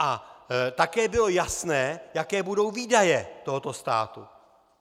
A také bylo jasné, jaké budou výdaje tohoto státu.